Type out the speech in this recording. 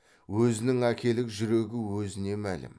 өзінің әкелік жүрегі өзіне мәлім